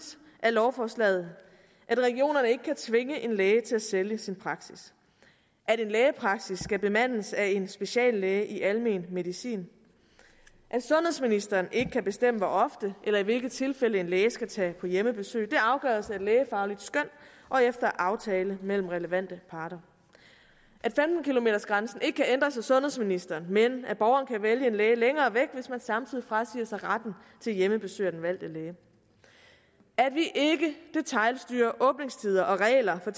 af lovforslaget at regionerne ikke kan tvinge en læge til at sælge sin praksis at en lægepraksis skal bemandes af en speciallæge i almen medicin at sundhedsministeren ikke kan bestemme hvor ofte eller i hvilke tilfælde en læge skal tage på hjemmebesøg det afgøres efter et lægefagligt skøn og efter aftale mellem relevante parter at femten kilometersgrænsen ikke kan ændres af sundhedsministeren men at borgeren kan vælge en læge længere væk hvis man samtidig frasiger sig retten til hjemmebesøg af den valgte læge at vi ikke detailstyrer åbningstider og regler for